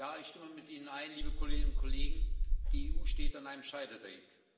Ich stimme mit Ihnen überein, liebe Kolleginnen und Kollegen Die EU steht an einem Scheideweg.